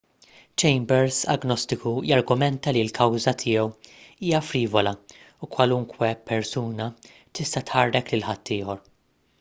chambers agnostiku jargumenta li l-kawża tiegħu hija frivola u kwalunkwe persuna tista' tħarrek lil ħaddieħor